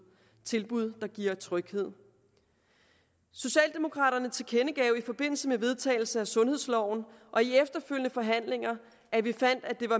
tilbud der giver tryghed socialdemokraterne tilkendegav i forbindelse med vedtagelsen af sundhedsloven og i de efterfølgende forhandlinger at vi fandt at den